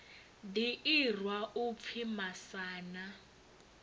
ḓi irwa u pfi masana